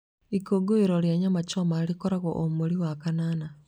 Ikũngũĩro rĩa Nyama choma rĩkoragwo o mweri wa kanana.